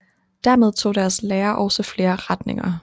Dermed tog deres lære også flere retninger